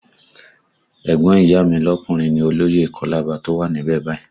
Ẹ̀gbọ́n ìyá a mi lọkùnrin ni olóyè ìkọ́làbà tó wà níbẹ̀ báyìí